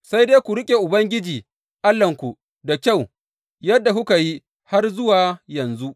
Sai dai ku riƙe Ubangiji Allahnku da kyau, yadda kuka yi har zuwa yanzu.